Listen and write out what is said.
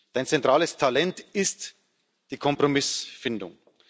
Dein zentrales Talent ist die Kompromissfindung.